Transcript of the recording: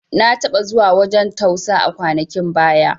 Na taɓa zuwa wajan tausa a kwanakin baya